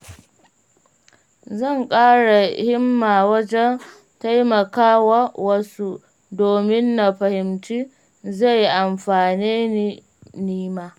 Zan ƙara himma wajen taimakawa wasu, domin na fahimci zai amfane ni nima.